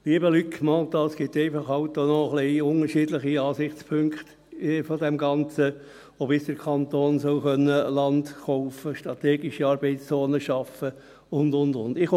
Lieber Luc Mentha, es gibt halt auch noch ein wenig unterschiedliche Ansichtspunkte von diesem Ganzen und wie der Kanton Land kaufen, strategische Arbeitszonen schaffen können soll und so weiter.